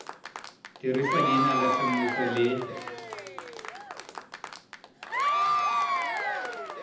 dirisa leina la semmuso le